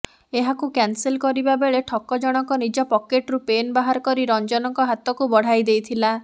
ଏହାକୁ କ୍ୟାନସେଲ କରିବା ବେଳେ ଠକଜଣଙ୍କ ନିଜ ପକେଟରୁ ପେନ୍ ବାହାର କରି ରଂଜନଙ୍କ ହାତକୁ ବଢ଼ାଇ ଦେଇଥିଲା